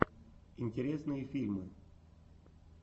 интересные фильмы